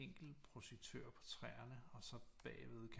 Enkelt projektør på træerne og så bagved